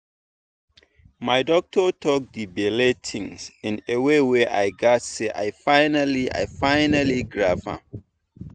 my doctor talk the belle thing in way wey i gatz say i finally i finally grab am.